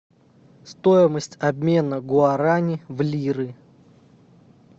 стоимость обмена гуарани в лиры